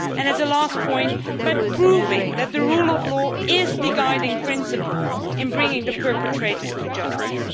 and, as a last point, by proving that the rule of law is the guiding principle in bringing the perpetrators to justice.